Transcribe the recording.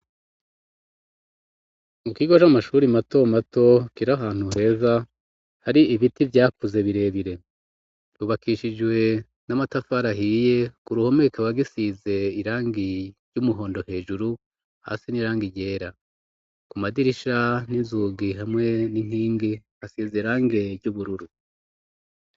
Mu kigo c'amashuri mato mato kir'ahantu heza hari ibiti vyakuze birebire, ryubakishijwe n'amatafar'ahiye ku ruhome kikaba gisize irangi ry'umuhondo ,hejuru hasi n'irangi ryera ku madirisha n'inzugi hamwe n'inkingi hasize irangi ry'ubururu.